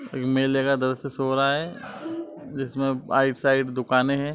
मेले का दृश्य शो रहा है जिसमें साइड दुकाने हैं।